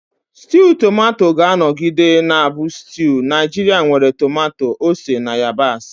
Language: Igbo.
Stew Tomato ga-anọgide na-abụ stew Naijiria nwere tomato, ose, na yabasị.